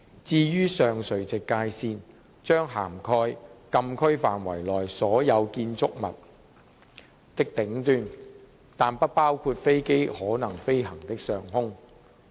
至於上垂直界線，將涵蓋禁區範圍內所有建築物的頂端，但不包括飛機可能飛行的上空。